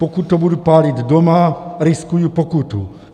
Pokud to budu pálit doma, riskuji pokutu.